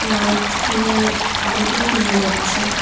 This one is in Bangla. মাছ কিনে অনেকেই নিয়ে যাচ্ছে।